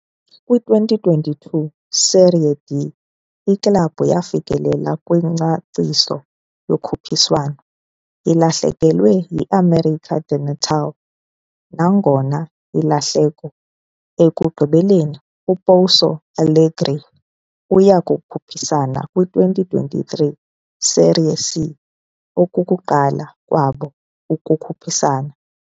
Kwi-2022 Série D, iklabhu yafikelela kwiNgcaciso yokhuphiswano, ilahlekelwe yi-América de Natal. Nangona ilahleko ekugqibeleni, uPouso Alegre uya kukhuphisana kwi-2023 Série C, okokuqala kwabo kukhuphiswano.